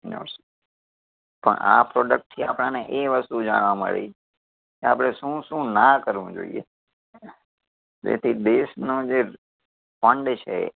ઓછે પણ આ product થી આપણને એ વસ્તુ જાણવા મળી કે આપડે શું શું ના કરવું જોઈએ. જેથી દેશનું જે fund છે